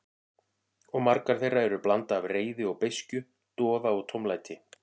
Og margar þeirra eru blanda af reiði og beiskju, doða og tómlæti.